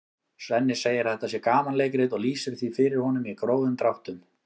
Svenni segir að þetta sé gamanleikrit og lýsir því fyrir honum í grófum dráttum.